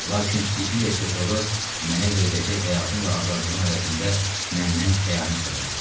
Lakin Siciliya pretoru mənə veriləcək həyatın və azadlığın əvəzində məndən xəyanət tələb etdi.